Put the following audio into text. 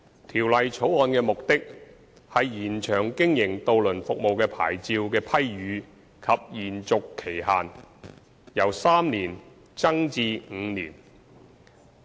《條例草案》的目的，是延長經營渡輪服務的牌照的批予及延續期限，由3年增至5年。